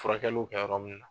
Furakɛliw kɛ yɔrɔ min na.